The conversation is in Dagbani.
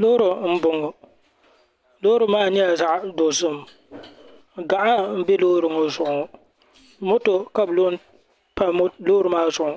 Loori m boŋɔ loori maa nyɛla zaɣa dozim gaɣa mbe Loori maa zuɣu moto ka bi lo mpa loori maa zuɣu